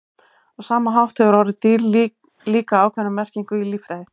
Á sama hátt hefur orðið dýr líka ákveðna merkingu í líffræði.